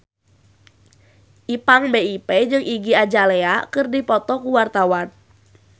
Ipank BIP jeung Iggy Azalea keur dipoto ku wartawan